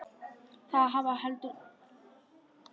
Það hefði heldur engu breytt.